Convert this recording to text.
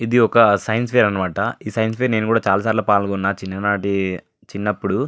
ఇది ఒక science fair అనమాట ఈ సైన్స్ ఫెయిర్ లో నేను చాలా సార్లు పాల్గొన్నాను చిన్ననాటి చిన్నప్పుడు.